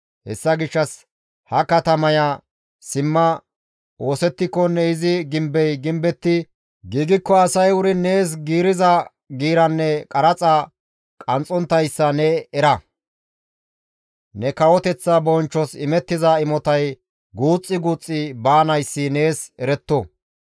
Hessa gishshas ha katamaya simma oosettikonne izi gimbey gimbetti giigikko asay wuri nees giiriza giiranne qaraxa qanxxonttayssa ne era; ne kawoteththa bonchchos imettiza imotay guuxxi guuxxi baanayssi nees eretto.